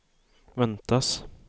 väntas